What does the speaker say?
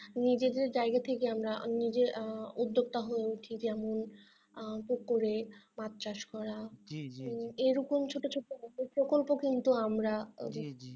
নিজেদের জায়গা থেকে আমরা নিজের আহ উদ্যোক্তা হয়ে উঠি যেমন আহ পুকুরে মাছ চাষ করা এরকম ছোট ছোট প্রকল্প কিন্তু আমরা